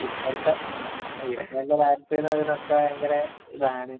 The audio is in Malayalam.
ഇപ്പഴത്തെ..ആ..ഇപ്പഴത്ത രാഷ്ട്രീയമെന്ന് പറയുന്നത് ഒക്കെ ഭയങ്കര ഇതാണ്..